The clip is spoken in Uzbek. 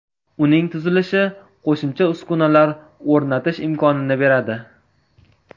Uning tuzilishi qo‘shimcha uskunalar o‘rnatish imkonini beradi.